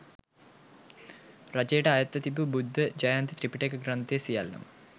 රජයට අයත්ව තිබූ බුද්ධ ජයන්ති ත්‍රිපිටක ග්‍රන්ථ සියල්ලම,